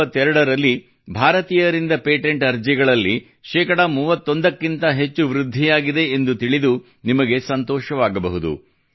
2022 ರಲ್ಲಿ ಭಾರತೀಯರಿಂದ ಪೇಟೆಂಟ್ ಅರ್ಜಿಗಳಲ್ಲಿ ಶೇಕಡಾ 31 ಕ್ಕಿಂತ ಹೆಚ್ಚು ವೃದ್ಧಿಯಾಗಿದೆ ಎಂದು ತಿಳಿದು ನಿಮಗೆ ಸಂತೋಷವಾಗಬಹುದು